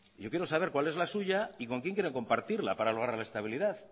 yo quiero saber cuál es la suya y con quién quieren compartirla para logra la estabilidad